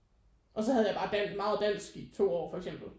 Og så havde jeg bare dan meget dansk i to år for eksempel